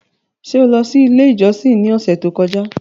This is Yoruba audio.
Ṣe o lọ si ile ijọsin ni ọsẹ to kọja?